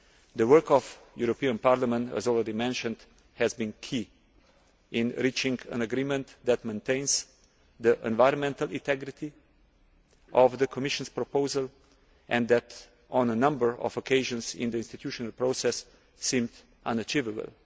The work of the European Parliament, as I already mentioned, has been key in reaching an agreement that maintains the environmental integrity of the Commission's proposal and that, on a number of occasions in the institutional process, seemed unachievable.